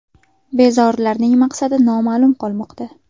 Bezorilarning maqsadi noma’lum qolmoqda.